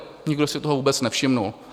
Nikdo si toho vůbec nevšiml.